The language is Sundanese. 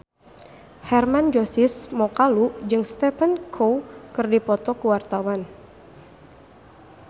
Hermann Josis Mokalu jeung Stephen Chow keur dipoto ku wartawan